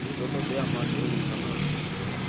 hu ṱoḓea maḓi o linganaho